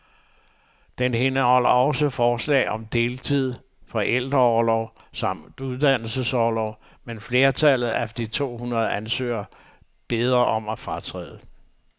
Den indeholder også forslag om deltid, forældreorlov samt uddannelsesorlov, men flertallet af de to hundrede ansøgere beder om at fratræde.